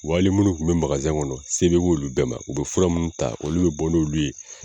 Wa ali minnu kun be magasɛn kɔnɔ se be k'olu bɛ ma o fura mun taa olu minnu olu be bɔ n' olu ye